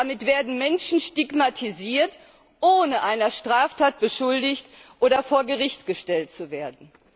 Damit werden Menschen stigmatisiert, ohne einer Straftat beschuldigt oder vor Gericht gestellt zu werden.